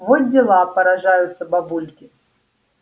во дела поражаются бабульки